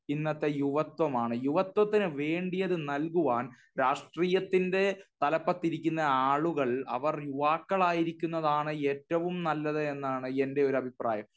ഇന്നത്തെ യുവത്വമാണ്. ഇന്നത്തെ യുവത്വത്തിന് വേണ്ടിയത് നല്കുവാൻ രാഷ്ട്രീയത്തിന്റെ തലപ്പത്തിരിക്കുന്ന ആളുകൾ അവർ യുവാക്കളായിരിക്കുന്നതാണ് ഏറ്റവും നല്ലത് എന്നാണ് എന്റെ ഒരു അഭിപ്രായം.